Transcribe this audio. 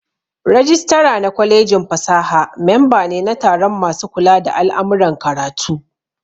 Rajistira na kwalejin fasaha memba ne na taron masu kula da al'amuran karatu